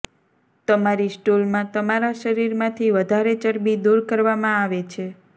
તમારી સ્ટૂલમાં તમારા શરીરમાંથી વધારે ચરબી દૂર કરવામાં આવે છે